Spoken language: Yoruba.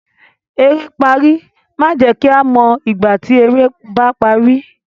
"Eré pari" máa jẹ kí a mọ ìgbà tí eré ba parí.